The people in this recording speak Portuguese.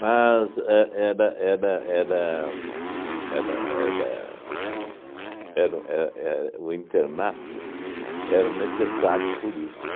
Mas é era era era era era era o éh éh o internato era necessário por isso.